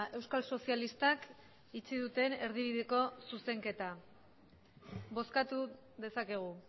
euskal sozialistak itxi duten erdibideko zuzenketa bozkatu dezakegu